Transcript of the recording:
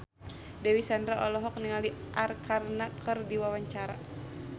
Dewi Sandra olohok ningali Arkarna keur diwawancara